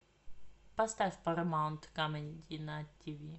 поставь парамаунт камеди на тиви